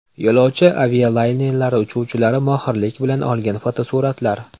Yo‘lovchi avialaynerlari uchuvchilari mohirlik bilan olgan fotosuratlar .